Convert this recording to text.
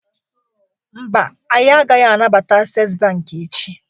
Mba, anyị agaghị anabata Access Bank echi